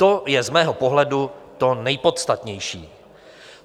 To je z mého pohledu to nejpodstatnější.